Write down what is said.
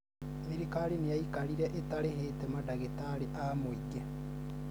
thirikari nĩya ikarire ĩtarĩhĩte madagĩtarĩ a mũingĩ